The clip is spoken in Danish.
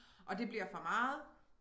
Og det bliver for meget